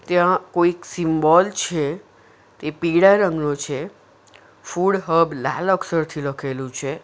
ત્યાં કોઈક સિમ્બોલ છે તે પીળા રંગનો છે ફૂડ હબ લાલ અક્ષરથી લખેલું છે.